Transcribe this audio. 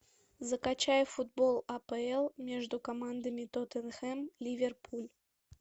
закачай футбол апл между командами тоттенхэм ливерпуль